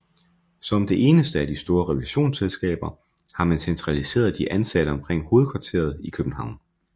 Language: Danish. Som det enneste af de store revisionsselskaber har man centraliseret de ansatte omkring hovedkvarteret i København